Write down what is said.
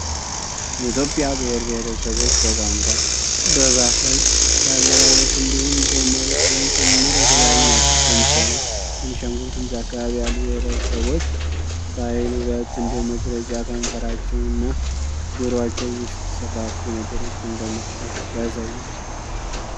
የትዮጵያ ብሄር ብሄረሰቦች በቋንቋ፣ በባህል፣ በአለባበስ እንዲሁም በመልክም ጭምር የተለያዩ ናቸው። ለምሳሌ ቤንሻንጉል ጉምዝ አካባቢ ያሉ ብሄረሰቦች ባህል ውበት እንደመግለጫ ከንፈራቸው እና ጆሮአቸው ውስጥ ሰፋፊ ነገሮችን በመክተት ያሳያሉ።